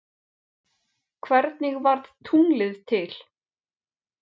Hvernig varð tunglið til?